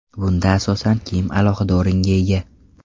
Bunda asosan kiyim alohida o‘ringa ega.